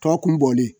Tɔ kun bɔlen